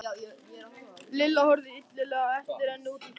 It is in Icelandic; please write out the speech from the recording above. Lilla horfði illilega á eftir henni út um gluggann.